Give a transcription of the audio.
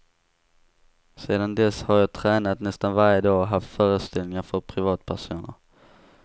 Sedan dess har jag tränat nästan varje dag och haft föreställningar för privatpersoner.